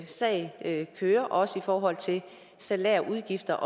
sag kører også i forhold til salærudgifter